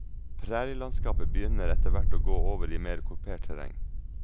Prærielandskapet begynner etterhvert å gå over i mer kupert terreng.